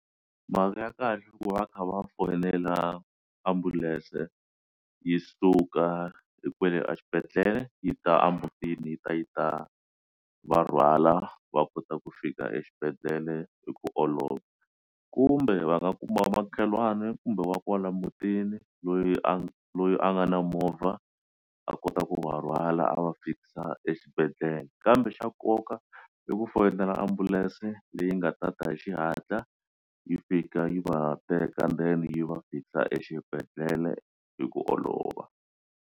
Mhaka ya kahle ku va kha va fonela ambulense yi suka i kwale exibedhlele yi ta emutini yi ta yi ta va rhwala va kota ku fika exibedhlele hi ku olova kumbe va nga kuma makhelwani kumbe wa kwalaya mutini loyi a loyi a nga na movha a kota ku va rhwala a va fikisa exibedhlele kambe xa ku nkoka i ku fonela ambulense leyi nga tata hi xihatla yi fika yi va teka then yi va fikisa exibedhlele hi ku olova.